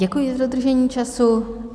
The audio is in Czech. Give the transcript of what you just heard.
Děkuji za dodržení času.